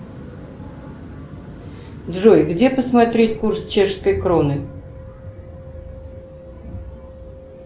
джой где посмотреть курс чешской кроны